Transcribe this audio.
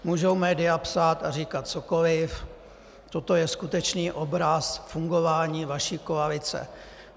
Můžou média psát a říkat cokoliv, toto je skutečný obraz fungování vaší koalice.